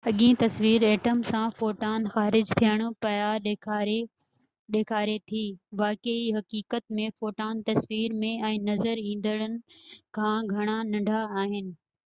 اڳيئن تصوير ائٽم سان فوٽان خارج ٿين پيا ڏيکاري ٿي واقعي حقيقت ۾ فوٽان تصوير ۾ نظر ايندڙن کان گهڻا ننڍا آهن